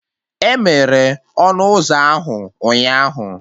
Emere ọnụ ụzọ ahụ ụnyaahụ